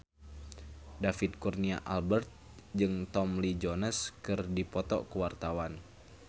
David Kurnia Albert jeung Tommy Lee Jones keur dipoto ku wartawan